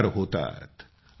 चमत्कार होतात